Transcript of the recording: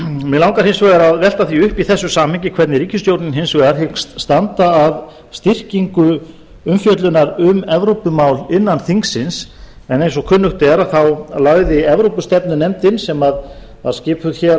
mig langar hins vegar að velta því upp í þessu samhengi hvernig ríkisstjórnin hins vegar hyggst standa að styrkingu umfjöllunar um evrópumál innan þingsins en eins og kunnugt er lagði evrópustefnunefndin sem var skipuð